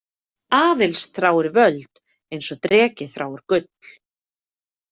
Aðils þráir völd eins og dreki þráir gull.